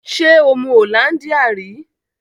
Ṣé o mu hollandia ri?